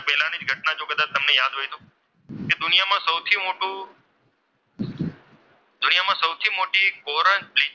કે દુનિયામાં સૌથી મોટું કે દુનિયામાં સૌથી મોટું કોરલ બ્રિજ,